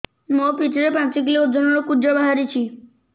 ମୋ ପିଠି ରେ ପାଞ୍ଚ କିଲୋ ଓଜନ ର କୁଜ ବାହାରିଛି